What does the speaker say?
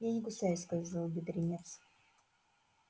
я не кусаюсь сказал бедренец